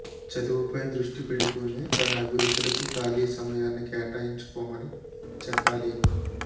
చదువుపై దృష్టి పెడుతూనే తన అభిరుచులకు ఖాళీ సమయాన్ని కేటాయించుకోమని చెప్పాలి